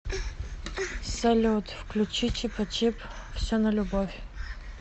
салют включи чипачип все на любовь